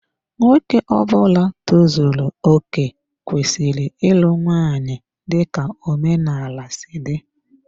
Nwoke Ọbula tozuru okè kwesịrị ịlụ nwanyị dika omenala si dị.